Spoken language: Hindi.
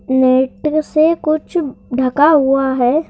नेट से कुछ ढका हुआ है।